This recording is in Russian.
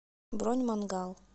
бронь мангал